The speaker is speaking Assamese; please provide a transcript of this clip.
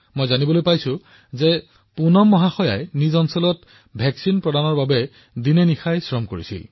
মোক কোৱা হৈছে যে পুনমজীয়ে তেওঁৰ অঞ্চলৰ লোকসকলৰ টীকাকৰণ কৰিবলৈ দিনৰাতিয়ে কাম কৰিছে